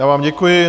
Já vám děkuji.